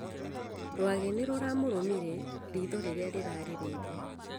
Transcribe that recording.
Rwage nĩ ruramũrumire riitho rĩrĩa rĩarĩ reibu